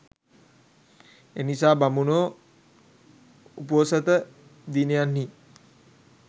එනිසා බමුණෝ උපෝසථ දිනයන්හි